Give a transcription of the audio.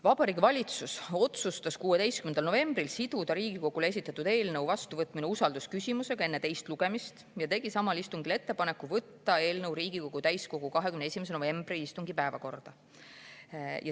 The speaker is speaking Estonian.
Vabariigi Valitsus otsustas 16. novembril siduda Riigikogule esitatud eelnõu vastuvõtmise usaldusküsimusega enne teist lugemist ja tegi samal istungil ettepaneku võtta eelnõu Riigikogu täiskogu 21. novembri istungi päevakorda.